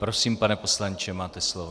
Prosím, pane poslanče, máte slovo.